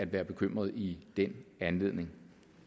være bekymret i den anledning